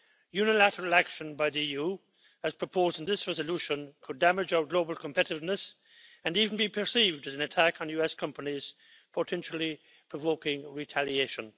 Unilateral action by the EU, as proposed in this Resolution, could damage our global competitiveness and even be perceived as an attack on US companies, potentially provoking retaliation.